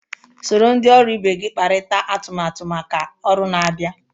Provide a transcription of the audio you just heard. Soro ndị ọrụ ibe gị kparịta atụmatụ maka ọrụ na-abịa.